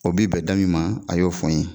O bi bɛn da min ma a y'o fɔ n ye